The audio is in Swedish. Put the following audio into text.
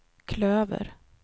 klöver